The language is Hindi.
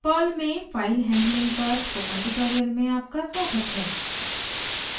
perl में फाइल हैंडलिंग पर स्पोकन ट्यूटोरियल में आपका स्वागत है